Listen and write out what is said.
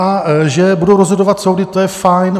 A že budou rozhodovat soudy, to je fajn.